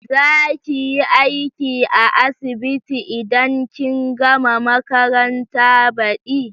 Za kiyi aiki a asibiti idan kin gama makaranta badi?